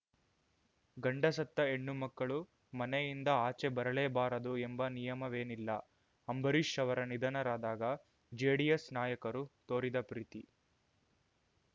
ಗಂಡ ಸತ್ತ ಹೆಣ್ಣು ಮಕ್ಕಳು ಮನೆಯಿಂದ ಆಚೆ ಬರಲೇಬಾರದು ಎಂಬ ನಿಯಮವೇನಿಲ್ಲಅಂಬರೀಷ್ ಅವರು ನಿಧನರಾದಾಗ ಜೆಡಿಎಸ್ ನಾಯಕರು ತೋರಿದ ಪ್ರೀತಿ